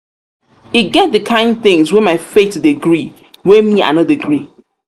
e get di kain tins wey my faith dey gree wey me wey me i no dey gree.